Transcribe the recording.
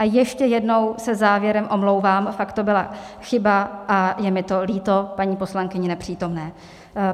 A ještě jednou se závěrem omlouvám, fakt to byla chyba a je mi to líto, paní poslankyni nepřítomné.